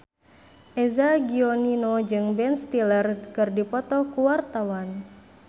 Eza Gionino jeung Ben Stiller keur dipoto ku wartawan